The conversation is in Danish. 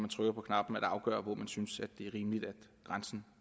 trykker på knapperne at afgøre hvor man synes det er rimeligt at grænsen